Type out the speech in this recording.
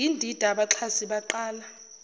yindida abaxhasi baqala